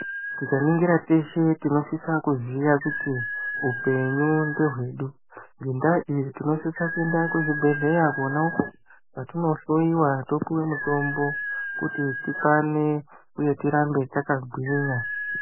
Tikaningira teshe tinosisa kuziya kuti upenyu ndehwedu. Ngendaa iyi tinosisa kuenda kuzvibhehleya kona uko kwatinohloyiwa topiwe mutombo kuti tikwane uye tirambe takagwinya.